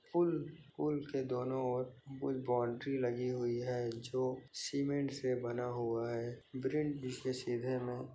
पूल-पुल के दोनों और कुछ बाउंड्री लगी हुई है जो सीमेंट से बना हुआ है सीधे में --